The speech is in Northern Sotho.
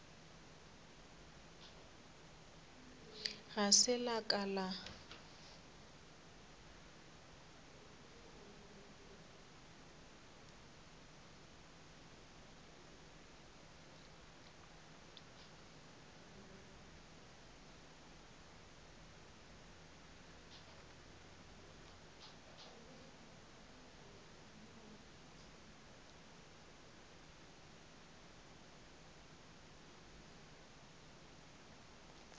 ga se la ka la